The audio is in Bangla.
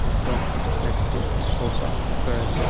এবং একটি সোফা রয়েছে।